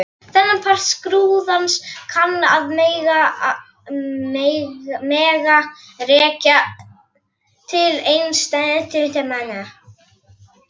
Þennan part skrúðans kann að mega rekja til einsetumanna Antóníusar.